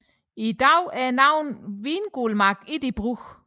I dag er navnet Vingulmark ikke i brug